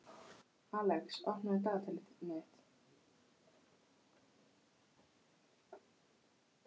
Alex, opnaðu dagatalið mitt.